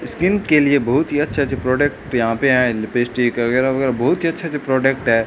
Skin के लिए बहुत ही अच्छे-अच्छे प्रोडक्ट यहां पे है लिपस्टिक वगैरा-वगैरा बहुत ही अच्छे-अच्छे प्रोडक्ट है।